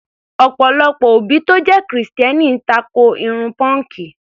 Ọ̀pọ̀lọpọ̀ òbí tó jẹ́ Kìrìsìtẹ́ẹ́nì tako irun pọ́ǹkì.